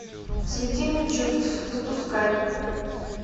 смятение чувств запускай